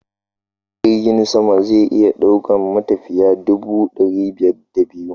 Jirgin sama zai iya daukan matafiya guda ɗari biyar da biyu.